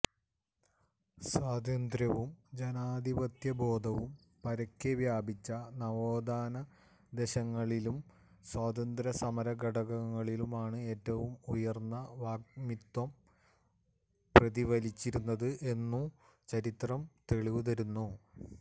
സ്വാതന്ത്ര്യവും ജനാധിപത്യബോധവും പരക്കെ വ്യാപിച്ച നവോത്ഥാനദശകളിലും സ്വാതന്ത്ര്യസമരഘട്ടങ്ങളിലും ആണ് ഏറ്റവും ഉയര്ന്ന വാഗ്മിത്വം പ്രതിഫലിച്ചിരുന്നത് എന്നു ചരിത്രം തെളിവു തരുന്നു